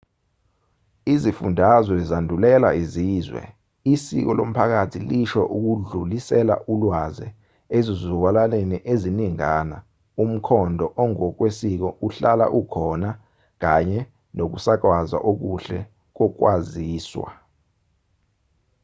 izifundazwe zandulela izizwe isiko lomphakathi lisho ukudlulisela ulwaze ezizukulwaneni eziningana umkhondo ongokwesiko ohlala ukhona kanye nokusakazwa okuhle kokwaziswa